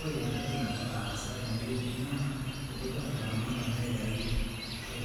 Ore entoki nagira aasa tenewueji naidipa laramatak aitau